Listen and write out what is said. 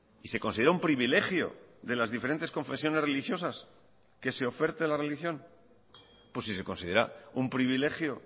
y se considera un privilegio de las diferentes confesiones religiosas que se oferte la religión pues si se considera un privilegio